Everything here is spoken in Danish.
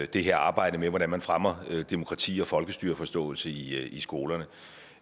det her arbejde med hvordan man fremmer demokrati og folkestyreforståelse i skolerne